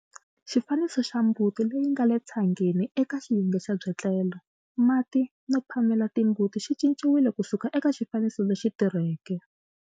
Xifaniso xa mbuti leyi nga le tshangeni eka xiyenge xa byetlelo, mati no phamela timbuti xi cinciwile ku suka eka xifaniso lexi tirheke.